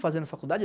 fazendo faculdade?